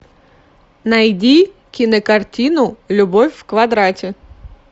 найди кинокартину любовь в квадрате